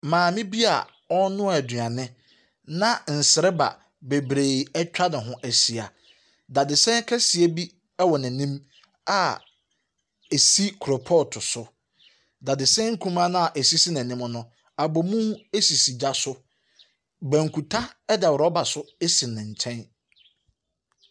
Maame bi a ɔrenoa aduane na nsriba bebree ɛtwa ne ho ahyia. Dadesɛn kɛseɛ bi ɛwɔ n'anim a esi koropɔt so. Dadesɛn nkumaa noa esisi n'anim no abomu esisi gya so. Bankuta ɛda rubber so esi ne nkyɛn.